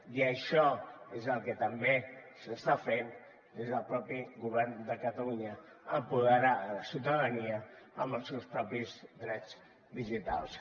i això és el que també s’està fent des del mateix govern de catalunya empoderar la ciutadania amb els seus propis drets digitals